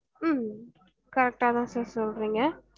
உம் corrrect ஆஹ் தான் sir சொல்றிங்க